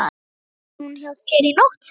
Svaf hún hjá þér í nótt?